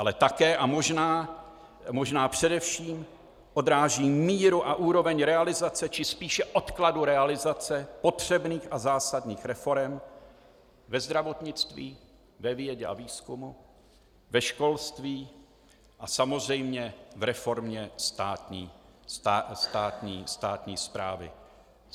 Ale také, a možná především, odráží míru a úroveň realizace, či spíše odkladu realizace potřebných a zásadních reforem ve zdravotnictví, ve vědě a výzkumu, ve školství a samozřejmě v reformě státní správy.